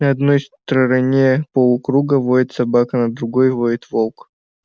на одной стороне полукруга воет собака на другой воет волк